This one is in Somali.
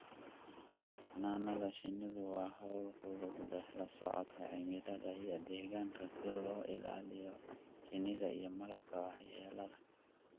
Xannaanada shinnidu waa hawl ku lug leh la socodka cimilada iyo deegaanka si looga ilaaliyo shinnida iyo malabka waxyeellada.